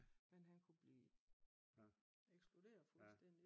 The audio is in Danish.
Men han kunne blive eksplodere fuldstændig